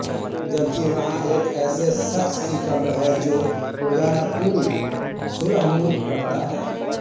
जबकि वहाँ एक ऐसे शख्स की कब्र है जो रोज़ाना पूरी सूरह मुल्क पढ़ता है